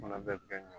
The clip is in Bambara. Fana bɛɛ bɛ kɛ ɲɛ